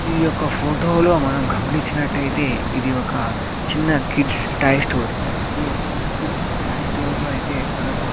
ఈ యొక్క ఫోటో లో గమనిచ్చినట్టైతే ఇది ఒక చిన్న కిడ్స్ టాయ్ స్టోర్ ఈ యొక్క కిడ్స్ టాయ్ స్టోర్ లో అయితే మనకు --